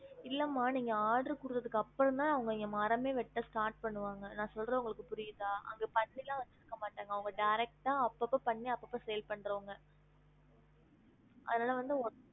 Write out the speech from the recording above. இல்லமா நீங்க order குடுத்ததுக்கு அப்ரோ தான் அவங்க இங்க மரமே வெட்ட start பண்ணுவாங்க நான் சொல்றது உங்களுக்கு புரியுதா அங்க பண்ணிலாம் வச்சிருக்க மாட்டங்க அவங்க direct ஆ அப்ப அப்ப பண்ணி அப்ப அப்ப sale பண்றவங்க அதனால வந்து